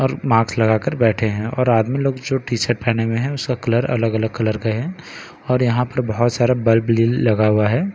और मास्क लगा कर बैठे है और आदमी लोग जो टी-शर्ट पेहने हुए है उसका कलर अलग-अलग कलर के है और यहाँ पर बहुत सारा बल्ब लेल लगा हुआ है।